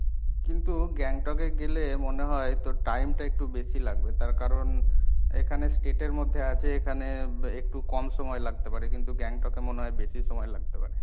কিন্তু গ্যাংটকে গেলে মনে হয় তোর time টা একটু বেশি লাগবে তার কারণ এখানে state এর মধ্যে আছে এখানে একটু কম সময় লাগতে পারে, কিন্তু গ্যাংটকে মনে হয় বেশি সময় লাগতে পারে।